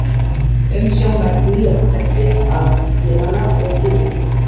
Umsjón með því er á hendi fagfélaga og yfirvalda.